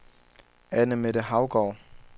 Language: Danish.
Anne-Mette Haugaard